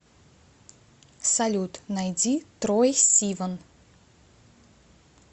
салют найди трой сиван